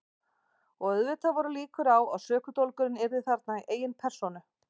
Og auðvitað voru líkur á að sökudólgurinn yrði þarna í eigin persónu.